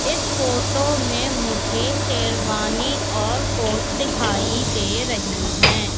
इस फोटो में मुझे शेरवानी और कोट दिखाई दे रही है।